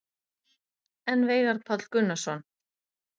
En Veigar Páll Gunnarsson?